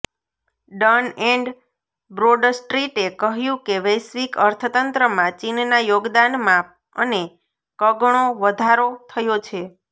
done and બ્રોડસ્ટ્રીટે કહ્યું કે વૈશ્વિક અર્થતંત્રમાં ચીનના યોગદાનમાં અને કગણો વધારો થયો છે